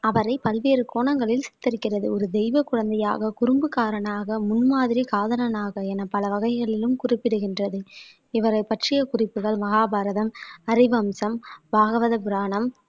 அவரை பல்வேறு கோணங்களில் சித்தரிக்கிறது ஒரு தெய்வ குழந்தையாக குறும்புக்காரனாக முன்மாதிரி காதலனாக என பல வகைகளிலும் குறிப்பிடுகின்றது இவரைப் பற்றிய குறிப்புகள் மகாபாரதம் ஹரி வம்சம் பாகவத புராணம்